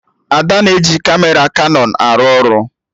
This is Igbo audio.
Ada na-eji Kamera Kanọn arụ ọrụ